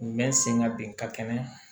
U bɛ n senga bin ka kɛnɛ